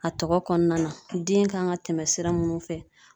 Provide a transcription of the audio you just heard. A tɔgɔ kɔnɔna na. Den kan ka tɛmɛ sira munnu fɛ.